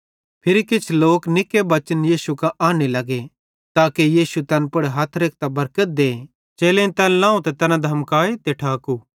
फिरी किछ लोक निक्के बच्चन यीशु कां आन्ने लगे ताके यीशु तैन पुड़ हथ रेखतां बरकत दे चेलेईं तैन लाव त तैन धमकाए ते ठाकू